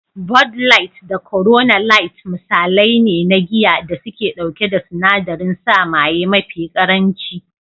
"Bud light, da Corona light" misalai ne na giya da suke ɗauke da sinadarin sa maye mafi ƙaranci.